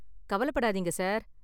கவலப்படாதீங்க, sir.